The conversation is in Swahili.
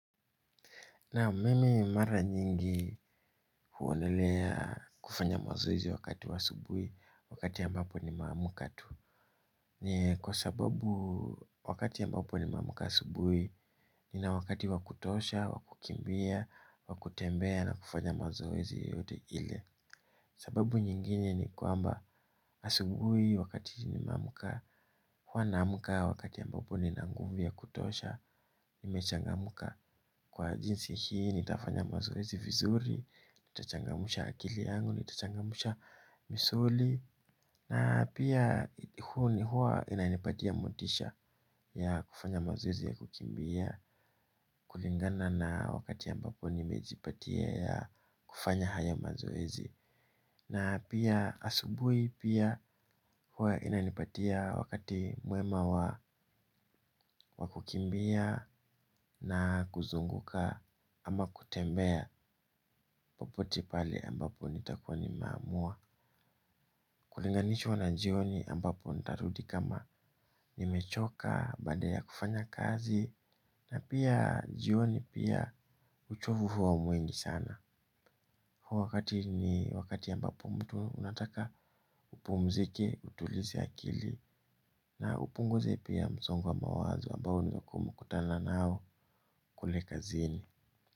Naam, mimi mara nyingi huonelea kufanya mazoezi wakati wa asubuhi wakati ambapo nimeamka tu. Ni kwa sababu wakati ambapo nimeamka asubuhi nina wakati wakutosha, wakukimbia, wakutembea na kufanya mazoezi yote ile. Sababu nyingine ni kwamba asubuhi wakati nimeamka huwa naamka wakati ambapo nina nguvu ya kutosha nimechangamka. Kwa jinsi hii nitafanya mazoezi vizuri, nitachangamsha akili yangu, nitachangamsha misuli. Na pia huwa inanipatia motisha ya kufanya mazoezi ya kukimbia. Kulingana na wakati ambapo nimejipatia ya kufanya haya mazoezi. Na pia asubuhi pia huwa inanipatia wakati mwema wa kukimbia na kuzunguka. Ama kutembea popote pale ambapo nitakuwa nimeamua. Kulinganishwa na jioni ambapo nitarudi kama nimechoka baada ya kufanya kazi. Na pia jioni pia uchovu huwa mwingi sana. Huo wakati ni wakati ambapo mtu anataka upumzike utulize akili. Na upunguze pia msongo wa mawazo ambao umekutana nao kule kazini.